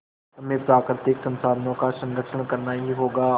हमें प्राकृतिक संसाधनों का संरक्षण करना ही होगा